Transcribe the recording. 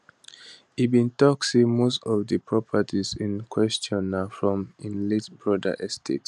e bin tok say most of di properties in question na from im late brother estate